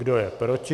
Kdo je proti?